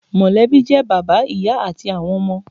Mọ̀lẹ́bí jẹ́ bàbá, ìyá àti àwọn ọmọ